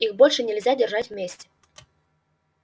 их больше нельзя держать вместе